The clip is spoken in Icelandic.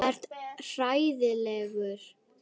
Þú ert hræddur Pétur.